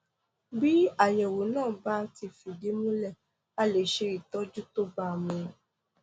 bí àyẹwò náà bá ti fìdí múlẹ a lè ṣe ìtọjú tó bá a mu